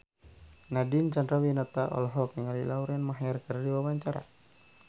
Nadine Chandrawinata olohok ningali Lauren Maher keur diwawancara